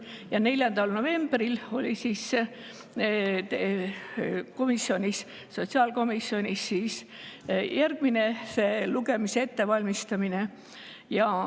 Ja 4. novembril oli sotsiaalkomisjonis järgmise lugemise ettevalmistamine.